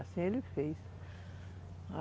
Assim ele fez.